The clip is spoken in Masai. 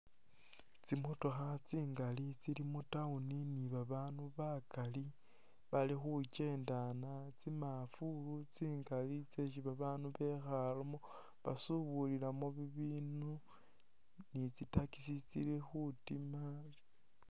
Tsimotokha tsingali tsili mu'town ni babandu bakali bali khukendana tsimafulu tsingali tseshi babaandu bakhalemo basubulilamo bibindu ni tsi' taxi tsili khutima